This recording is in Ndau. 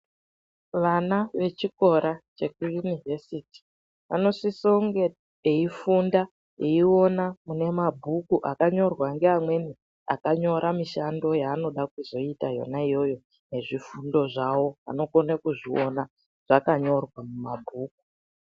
Vana vechikora chekuyunivhesiti vanosise kunge veifunda veiona mune mabhuku akanyorwa ngeamweni akanyora mishando yaanoda kuzoita yona iyoyo nezvifundo zvavo anokonakuzviona zvakanyorwa mumabhuku.